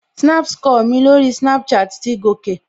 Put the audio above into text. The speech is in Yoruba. Snap score mi lórí Snapchat ti gòkè